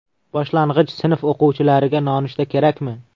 Boshlang‘ich sinf o‘quvchilariga nonushta kerakmi?.